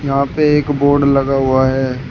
यहां पे एक बोर्ड लगा हुआ है।